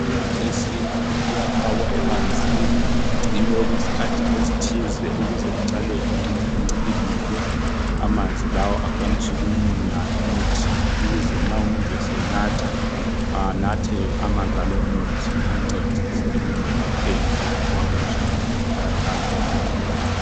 imithi yesintu iyafakwa emanzini igcinwe okwesikhathi esithize ukuze iqale incibilike amanzi laa akwanise ukumunya umuthi ukuze nxa umuntu esenatha anathe amanzi alomuthi amncedise ekumelapheni lokhu akuzawayo kumkhathaz emzimbeni